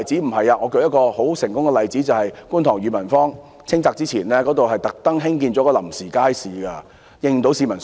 並不是，我舉一個很成功的例子，就是在觀塘裕民坊清拆前，政府特地興建了一個臨時街市，應付市民所需。